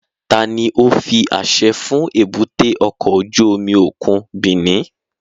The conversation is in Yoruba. Tani o fi aṣẹ fun èbúté ọkọ ojú omi okun Benin?